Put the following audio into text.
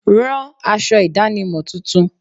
Rán aṣọ ìdánimọ̀ tuntun.